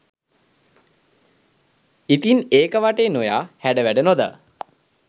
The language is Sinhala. ඉතින් ඒක වටේ නොයා හැඩ වැඩ නොදා